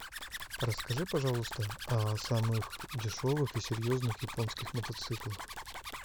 расскажи пожалуйста о самых дешевых и серьезных японских мотоциклах